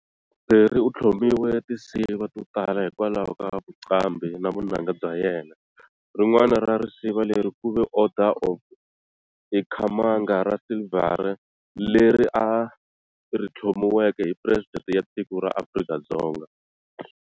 Phiri uthlomiwe tinsiva to tala hikwalaho ka vuqambhi na vunanga bya yena, rin'wana ra risiva leri kuve Order of Ikhamanga ra Silvere leri a rithlomiweke hi Presidenti ya tiko ra Afrika-Dzonga.